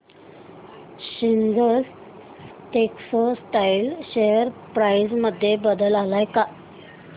seasons textile share price मध्ये बदल आलाय का